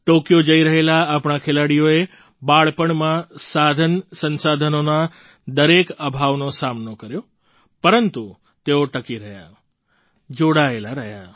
Tokyo જઈ રહેલા આપણા ખેલાડીઓએ બાળપણમાં સાધનસંસાધનોના દરેક અભાવનો સામનો કર્યો પરંતુ તેઓ ટકી રહ્યા જોડાયેલા રહ્યા